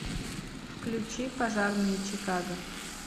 включи пожарные чикаго